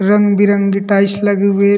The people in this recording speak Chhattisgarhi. रंग-बिरंगे टाइल्स लगे हुए हे।